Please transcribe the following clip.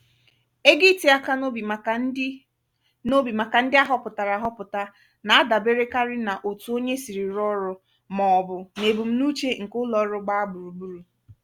ego iti aka n'obi maka ndị n'obi maka ndị ahọpụtara ahọpụta na-adaberekarị n'otu onye siri rụọ ọrụ maọbụ n'ebum n'uche nke ụlo-ọru gbaa gburugburu.